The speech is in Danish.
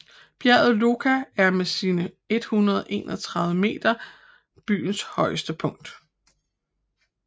Bjerget Loka er med sine 131 meter øens højeste punkt